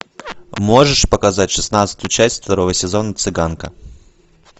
можешь показать шестнадцатую часть второго сезона цыганка